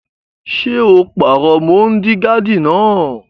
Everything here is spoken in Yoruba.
Ṣé o pàrọ mọ́ọ́digààdì náà?